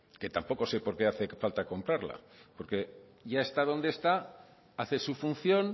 que tampoco sé por qué hace falta comprarla porque ya está donde está hace su función